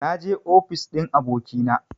Na je ofis ɗin abokina